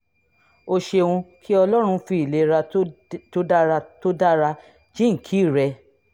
o ṣeun kí ọlọ́run fi ìlera tó dára tó dára jíǹkí rẹ